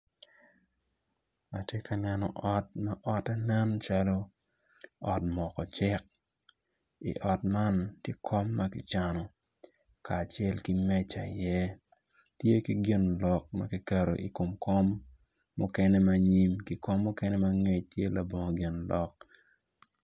Atye ka neno ot ma ote nen calo ot moko cik i ot man tye kom ma ki cano kacel ki meca i iye tye ki gin lok ma kiketo ikom kom mukene manyim ki kom mukene mangec tye labongo gin lok